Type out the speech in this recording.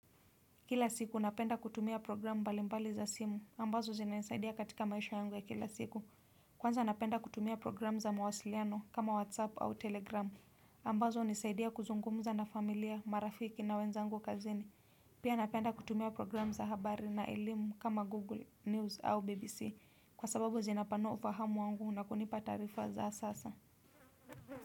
Kila siku napenda kutumia programu mbali mbali za simu, ambazo zinanisaidia katika maisha yangu ya kila siku. Kwanza napenda kutumia programu za mawasiliano kama WhatsApp au Telegram. Ambazo hunisaidia kuzungumza na familia, marafiki na wenzangu kazini. Pia napenda kutumia programu za habari na elimu kama Google News au BBC. Kwa sababu zinapanua ufahamu wangu na kunipa taarifa za sasa.